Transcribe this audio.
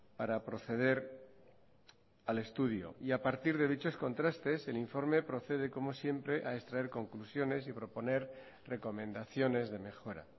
para proceder al estudio y a partir de dichos contrastes el informe procede como siempre a extraer conclusiones y proponer recomendaciones de mejora